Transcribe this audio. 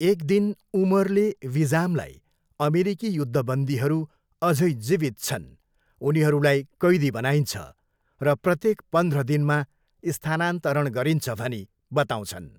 एक दिन उमरले विजामलाई अमेरिकी युद्धबन्दीहरू अझै जीवित छन्, उनीहरूलाई कैदी बनाइन्छ र प्रत्येक पन्ध्र दिनमा स्थानान्तरण गरिन्छ भनी बताउँछन्।